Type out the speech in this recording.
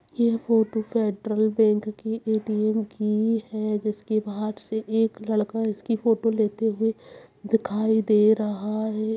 यह photo Federal Bank के ATM की है जिसके बाहर से एक लड़का इसकी फोटो लेते हुए दिखाई दे रहा है।